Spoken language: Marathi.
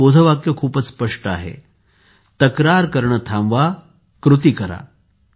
त्याचे बोधवाक्य खूपच स्पष्ट आहे तक्रार करणे थांबवा कृती करा